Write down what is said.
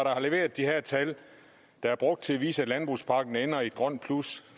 har leveret de her tal der er brugt til at vise at landbrugspakken ender i et grønt plus